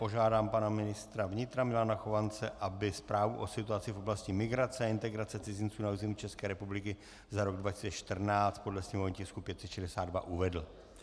Požádám pana ministra vnitra Milana Chovance, aby Zprávu o situaci v oblasti migrace a integrace cizinců na území České republiky za rok 2014 podle sněmovního tisku 562 uvedl.